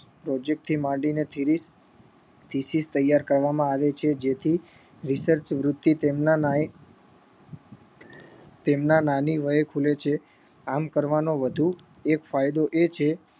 project થી માંડી ને સીરીઝ સ્થીસીસ તૈયાર કરવામાં આવે છે જેથી research વૃત્તિ તેમના માટે તેમના નાની વયે છે આમ કરવાનો વધુ એક ફાયદો એ છે કે